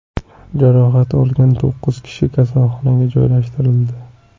Jarohat olgan to‘qqiz kishi kasalxonaga joylashtirildi.